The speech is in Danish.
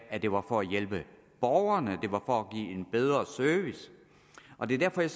at det var for at hjælpe borgerne at det var for at give en bedre service og det er derfor jeg